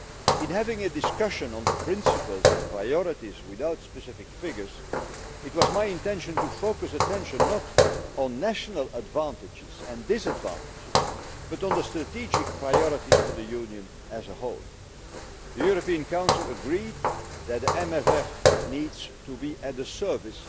In having a discussion on the principles and priorities without specific figures, it was my intention to focus attention not on national advantages and disadvantages but on the strategic priorities for the Union as a whole. The European Council agreed that the MFF needs to be at the service